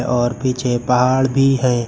और पीछे पहाड़ भी है।